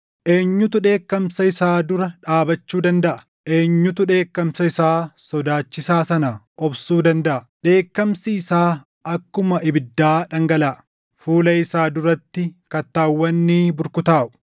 Eenyutu dheekkamsa isaa dura dhaabachuu dandaʼa? Eenyutu dheekkamsa isaa sodaachisaa sana obsuu dandaʼa? Dheekkamsi isaa akkuma ibiddaa dhangalaʼa; fuula isaa duratti kattaawwan ni burkutaaʼu.